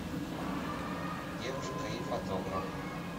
девушка и фотограф